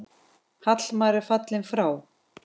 Hallmar er fallinn frá.